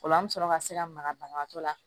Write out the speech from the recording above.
Ola an mi sɔrɔ ka se ka maga banabaatɔ la